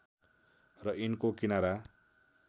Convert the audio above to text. र यिनको किनारा